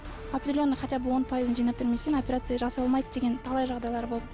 определенный хотя бы он пайызын жинап бермесең операция жасалмайды деген талай жағдайлар болды